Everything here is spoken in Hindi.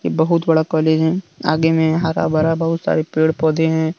बहुत बड़ा कॉलेज है आगे में हरा भरा बहुत सारे पेड़ पौधे हैं।